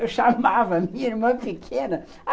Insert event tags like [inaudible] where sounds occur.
Eu [laughs] chamava a minha irmã pequena.